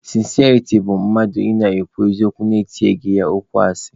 Sịnsịariti bụ mmadụ ị na-ekwu eziokwu na-etinyeghị ya okwu asị.